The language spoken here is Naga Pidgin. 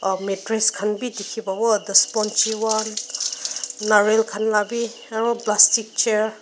a mattress khan bhi dikhi pabo nariyal khan lah bhi aru plastic chair .